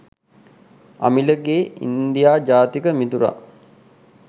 අමිලගේ India ජාතික මිතුරා